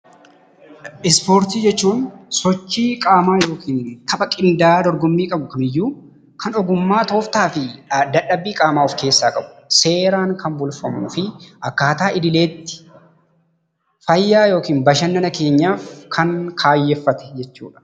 Ispoortii jechuun sochii qaamaa yookiin tapha qinda'aa dorgommii qabu kamiyyuu kan ogummaa, tooftaa fi dadhabbii of keessaa qabuu dha. Seeraan kan bulfamuu fi akkaataa idileetti fayyaa yookiin qaamaa keenyaaf kan kaayyeffate jechuu dha.